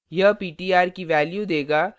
यह is ptr की value देगा